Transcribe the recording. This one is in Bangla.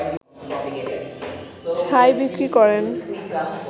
ছাই বিক্রি করেন